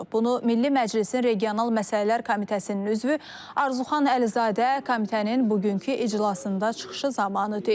Bunu Milli Məclisin regional məsələlər komitəsinin üzvü Arzuxan Əlizadə komitənin bugünkü iclasında çıxışı zamanı deyib.